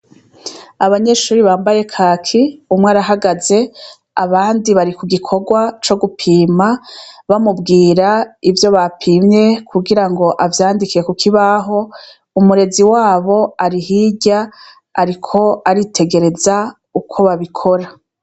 Abanyeshure bambaye kaki, umwe arahagaze, abandi barikugikorwa cogupima bamubwira ivyo bapimye kugirango avyandike kukibaho, umurezi wabo ari hirya ariko aritegereza uko babikora.